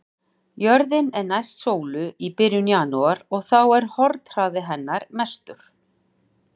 Jörðin er næst sólu í byrjun janúar og þá er hornhraði hennar mestur.